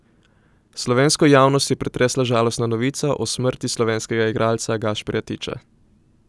Slovensko javnost je pretresla žalostna novica o smrti slovenskega igralca Gašperja Tiča.